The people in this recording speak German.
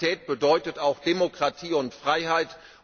Aber Stabilität bedeutet auch Demokratie und Freiheit.